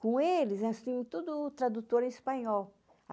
Com eles, nós tínhamos todo o tradutor em espanhol.